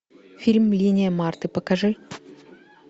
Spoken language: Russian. фильм линия марты покажи